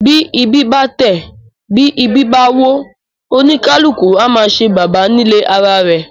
Bí ìbí bá tẹ̀, bí ìbí bá wọ́, oníkálukú á máa ṣe baba nílé ara rẹ̀.